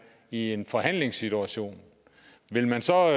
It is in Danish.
i en forhandlingssituation vil man så